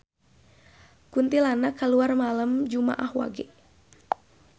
Kuntilanak kaluar malem jumaah Wage